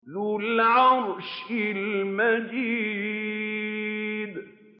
ذُو الْعَرْشِ الْمَجِيدُ